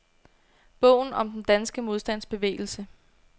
Bogen om den danske modstandsbevægelse.